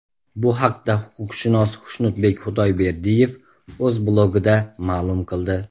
Bu haqda huquqshunos Xushnudbek Xudoyberdiyev o‘z blogida ma’lum qildi .